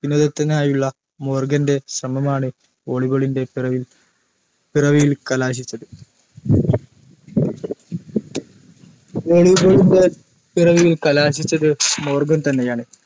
വിനോദത്തിനായുള്ള മോർഗൻറെ ശ്രമമാണ് volley ball ന്റെ പിറവിൽ പിറവിയിൽ കലാശിച്ചത് volley ball ൻറെ പിറവിയിൽ കലാശിച്ചത് മോർഗൻ തന്നെയാണ്